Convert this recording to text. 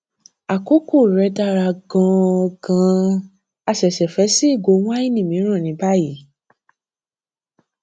àkókò rẹ dára gan an gan an a ṣẹṣẹ fẹ ṣí ìgò wáìnì mìíràn ni báyìí